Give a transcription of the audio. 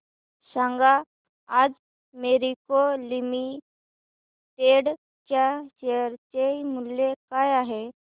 सांगा आज मॅरिको लिमिटेड च्या शेअर चे मूल्य काय आहे